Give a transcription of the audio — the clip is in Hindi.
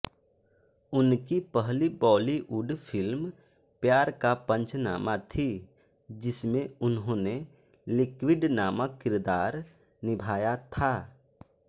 उनकी पहली बॉलीवुड फिल्म प्यार का पंचनामा थी जिसमें उन्होंने लिक्विड नामक किरदार निभाया था